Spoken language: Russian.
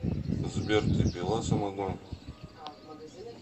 сбер ты пила самогон